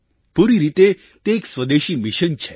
પૂરી રીતે તે એક સ્વદેશી મિશન છે